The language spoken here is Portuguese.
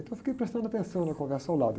Então eu fiquei prestando atenção na conversa ao lado.